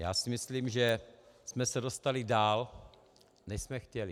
Já si myslím, že jsme se dostali dál, než jsme chtěli.